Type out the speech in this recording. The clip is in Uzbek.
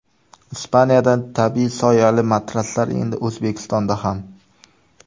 Ispaniyadan tabiiy soyali matraslar endi O‘zbekistonda ham!.